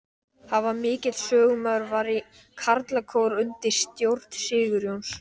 Hann var mikill söngmaður, var í karlakór undir stjórn Sigurjóns